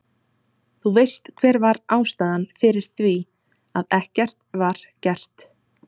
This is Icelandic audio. Þú veist hver var ástæðan fyrir því, að ekkert var gert?